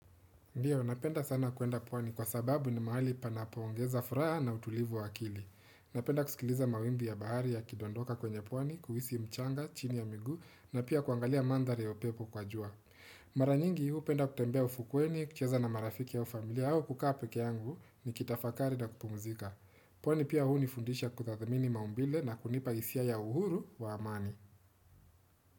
Ndiyo, napenda sana kwenda pwani kwa sababu ni mahali panapoongeza furaha na utulivu wakili. Napenda kusikiliza mawimbi ya bahari yakidondoka kwenye pwani, kuhisi mchanga, chini ya miguu na pia kuangalia mandhari ya upepo kwa jua. Mara nyingi hupenda kutembea ufukweni, kucheza na marafiki au ufamilia au kukaa peke yangu nikitafakari na kupumzika. Pwani pia hunifundisha kutathmini maumbile na kunipa hisia ya uhuru wa amani.